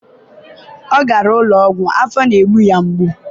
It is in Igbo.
ọ gara ụlọ ọgwụ, afọ na-egbu ya.